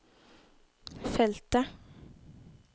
feltet